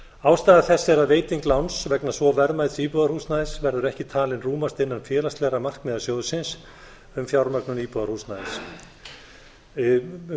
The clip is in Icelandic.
ástæða þess er að veiting láns vegna svo verðmæts íbúðarhúsnæðis verður ekki talin rúmast innan félagslegra markmiða sjóðsins um